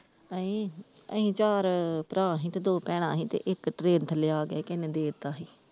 ਅਸੀਂ, ਅਸੀਂ ਚਾਰ ਭਰਾ ਸੀ ਤੇ ਦੋ ਭੈਣਾਂ ਸੀ ਤੇ ਇੱਕ train ਥੱਲੇ ਆਗਿਆ ਸੀ ਕਿਸੇ ਨੇ ਦੇ ਦਿੱਤਾ ਸੀ।